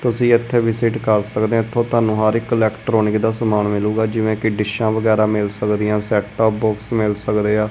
ਤੁਸੀਂ ਇਥੇ ਵੀ ਵਿਜਿਟ ਕਰ ਸਕਦੇ ਹੋ ਇਥੋਂ ਤੁਹਾਨੂੰ ਹਰ ਇੱਕ ਇਲੈਕਟਰੋਨਿਕ ਦਾ ਸਮਾਨ ਮਿਲੂਗਾ ਜਿਵੇਂ ਕਿ ਡਿਸ਼ਾਂ ਵਗੈਰਾ ਮਿਲ ਸਕਦੀਆਂ ਹਨ ਸੈਟ ਅਪ ਬਾਕਸ ਮਿਲ ਸਕਦੇ ਆ।